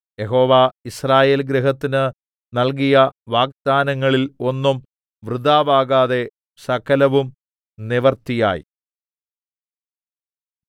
യഹോവ യിസ്രായേൽഗൃഹത്തിന് നൽകിയ വാഗ്ദാനങ്ങളിൽ ഒന്നും വൃഥാവാകാതെ സകലവും നിവൃത്തിയായി